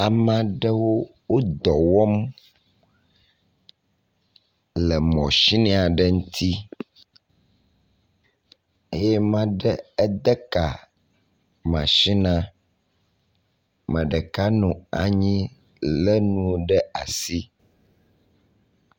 Ame aɖewo wo dɔ wɔm le mɔsini aɖe ŋuti eye ame aɖe ede ka masinia. Ame ɖeka nɔ anyi le nuwo ɖe asi.